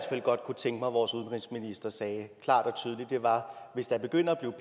fald godt kunne tænke mig vores udenrigsminister sagde klart og tydeligt var hvis der begynder at